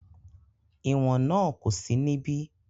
ìwọ̀n náà kò sí níbí